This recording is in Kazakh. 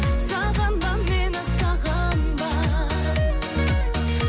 сағынба мені сағынба